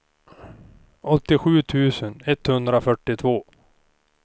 åttiosju tusen etthundrafyrtiotvå